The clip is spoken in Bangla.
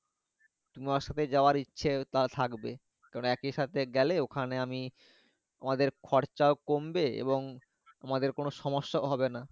তোমার সাথে জয়ার ইচ্ছে টা থাকবে কারণ একই সাথে গালে ওখানে আমি আমাদের খরচাও কমবে এবং আমাদের কোন সমস্যা হবে না।